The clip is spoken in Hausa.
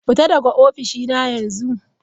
Fita daga ofishina yanzu!